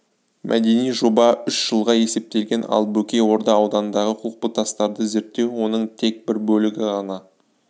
мәдени жоба үш жылға есептелген ал бөкей орда ауданындағы құлпытастарды зерттеу оның тек бір бөлігі ғана